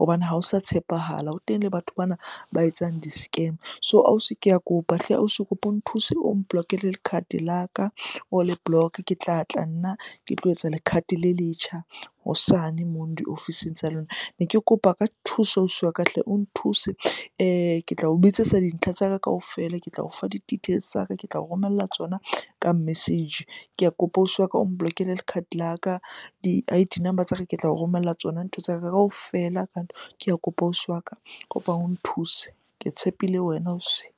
hobane ha o sa tshepahala. Ho teng le batho bana ba etsang di-scam. So ausi ke a kopa hle ausi, ke kopa o nthuse o mblock-ele card la ka, o le block-e. Ke tlatla nna ke tlo etsa le card le letjha hosane mono diofising tsa lona. Ne ke kopa ka thuso ausi wa ka hle o nthuse. Ke tla o bitsetsa dintlha tsa ka kaofela, ke tla o fa di-details tsa ka, ke tla o romella tsona ka message. Ke a kopa ausi wa ka o mblock-ele card la ka, di-I_D number tsa ka ke tlao romella tsona, ntho tsa ka kaofela . Ke a kopa ausi wa ka, kopa o nthuse ke tshepile wena ausi.